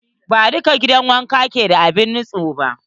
Ba dukkan gidan wanka ke da abun nutse ba.